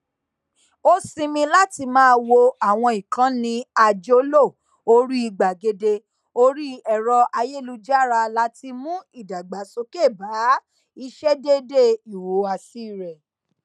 ó sinmi láti máa wo àwọn ìkànnì àjọlò orí gbàgede orí ẹrọayélujára láti mú ìdàgbàsókè bá ìṣedéédé ìhùwàsí rẹ